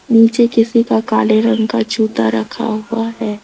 नीचे किसी का काले रंग का जूता रखा हुआ है।